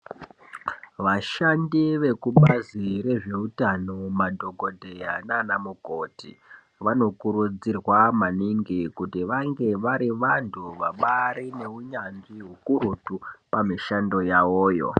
Vashandi vekubazi rezveutano madhokodheya nanamukoti vanokurudzirwa maningi kuti vange vari vantu vabari veunyanzvi hukurutu pamishando yavoyo